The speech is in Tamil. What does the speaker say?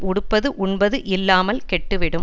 உடுப்பது உண்பதும் இல்லாமல் கெட்டு விடும்